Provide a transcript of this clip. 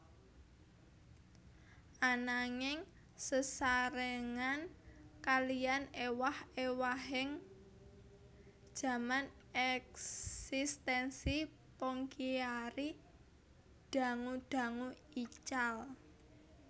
Ananging sesarengan kaliyan ewah ewahaning jaman eksistensi Pongkiari dangu dangu ical